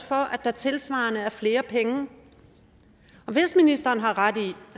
for at der tilsvarende er flere penge hvis ministeren har ret i